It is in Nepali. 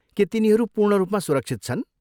के तिनीहरू पूर्ण रूपमा सुरक्षित छन्?